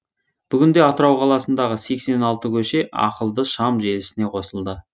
бүгінде атырау қаласындағы сексен алты көше ақылды шам желісіне қосылды